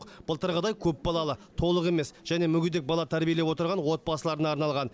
былтырғыдай көпбалалы толық емес және мүгедек бала тәрбиелеп отырған отбасыларына арналған